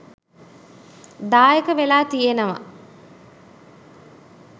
දායක වෙලා තියෙනවා.